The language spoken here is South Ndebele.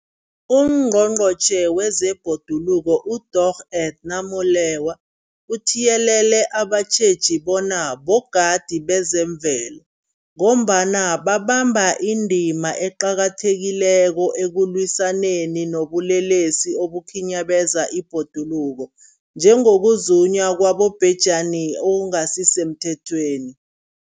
UNgqongqotjhe wezeBhoduluko uDorh Edna Molewa uthiyelele abatjheji bona bogadi bezemvelo, ngombana babamba indima eqakathekileko ekulwisaneni nobulelesi obukhinyabeza ibhoduluko, njengokuzunywa kwabobhejani okungasisemthethweni.